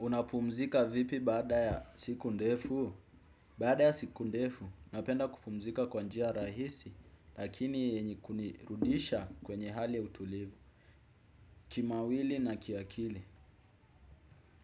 Unapumzika vipi baada ya siku ndefu? Baada ya siku ndefu, napenda kupumzika kwanjia rahisi, lakini yenye kunirudisha kwenye hali ya utulivu, kimawili na kiakili.